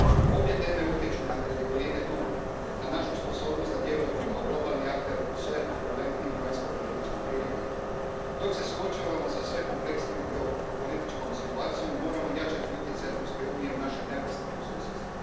Obje teme utječu na kredibilitet Unije, na našu sposobnost da djelujemo kao globalni akter u sve turbulentnijim vanjskopolitičkim prilikama. Dok se suočavamo sa sve kompleksnijom geopolitičkom situacijom, moramo jačati utjecaj Europske unije u našem neposrednom susjedstvu.